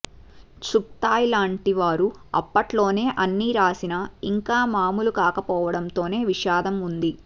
చుగ్తాయ్ లాంటి వారు అప్పట్లోనే అన్ని రాసినా ఇంకా మామూలు కాకపోవడంలోనే విషాదం ఉంది